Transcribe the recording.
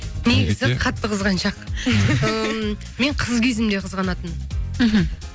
негізі қатты қызғаншақ ыыы мен қыз кезімде қызғанатынмын мхм